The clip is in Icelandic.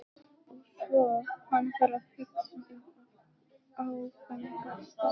Og svo var hann að hugsa um áfangastaðinn.